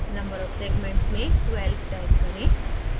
number of segments में 12 type करें